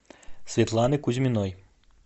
светланы кузьминой